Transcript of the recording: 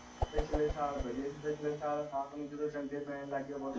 ਪਿਛਲੇ ਸਾਲ ਸੀ ਪਿਛਲੇ ਸਾਲ ਨੂੰ ਜਦੋ ਡੰਡੇ ਪੈਣ ਲਗ ਗਏ